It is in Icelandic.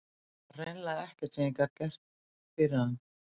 Og það var hreinlega ekkert sem ég gat fyrir hann gert.